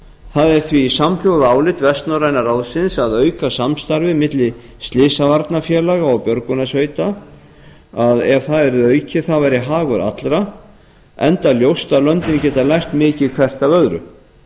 það er því samhljóða álit vestnorræna ráðsins að auka samstarfið milli slysavarnafélaga og björgunarsveita ef það yrði aukið væri það hagur allra enda ljóst að löndin geta lært mikið hvert af öðru